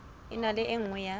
ena ke e nngwe ya